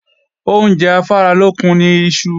Oúnjẹ afáralókun ni iṣu